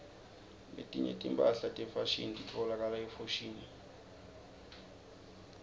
letinye timphahla tefashini titfolakala efoshini